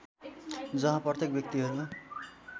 जहाँ प्रत्येक व्यक्तिहरू